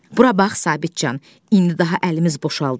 Bura bax, Sabitcan, indi daha əlimiz boşaldı.